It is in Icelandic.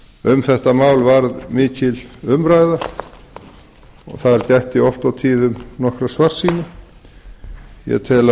um þetta mál varð mikil umræða og þar gætti oft og tíðum nokkurrar svartsýni ég tel að